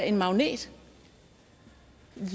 en magnet